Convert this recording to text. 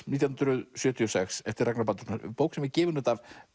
nítján hundruð sjötíu og sex eftir Ragnar Baldursson er bók sem er gefin út af